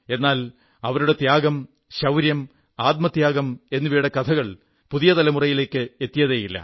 എന്നാൽ അവരുടെ ത്യാഗം ശൌര്യം ആത്മത്യാഗം എന്നിവയുടെ കഥകൾ പുതിയ തലമുറയിലേക്ക് എത്തിയതേയില്ല